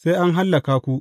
sai an hallaka ku.